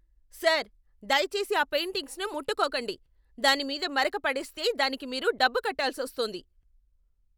Sir, దయచేసి ఆ పెయింటింగ్స్ని ముట్టుకోకండి! దాని మీద మరక పడేస్తే దానికి మీరు డబ్బు కట్టాల్సొస్తుంది.